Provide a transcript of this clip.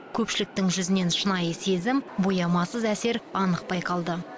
көпшіліктің жүзінен шынайы сезім боямасыз әсер анық байқалды